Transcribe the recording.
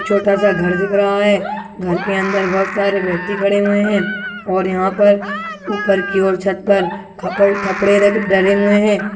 छोटा -सा घर दिख रहा है घर के अंदर बहुत सारे व्यक्ति खड़े हुए है और यहाँ पर ऊपर की ओर छत पर खपड खपडे र डरे हुए हैं।